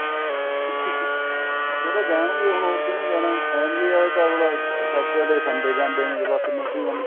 ਉਹ ਤਾਂ ਜਾਣਗੇ ਹੁਣ ਹੋਰ ਕਿਹਨੇ ਜਾਣਾ family ਆਲੇ ਤਾਂ ਮਤਲਬ Saturday Sunday ਜਾਂਦੇ ਨੇ ਜਵਾਕ